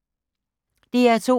DR2